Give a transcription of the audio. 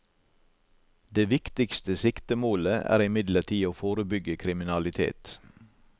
Det viktigste siktemålet er imidlertid å forebygge kriminalitet.